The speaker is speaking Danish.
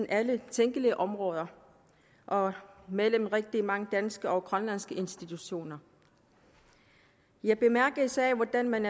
alle tænkelige områder og mellem rigtig mange danske og grønlandske institutioner jeg bemærker især hvordan man